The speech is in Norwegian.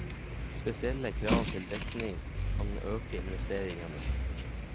Spesielle krav til dekning kan øke investeringene.